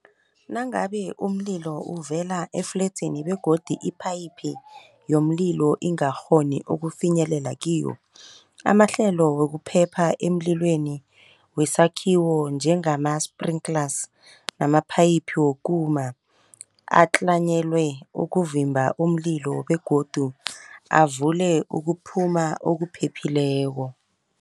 Nangabe umlilo uvela efledzini begodu iphayiphi yomlilo ingakghoni ukufinyelela kiwo. Amahlelo wokuphepha emlilweni wesakhiwo njengama-sprinklers namaphayiphu wokuma atlanyelwe ukuvimba umlilo begodu avule ukuphuma okuphephileko.